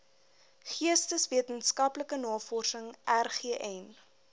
geesteswetenskaplike navorsing rgn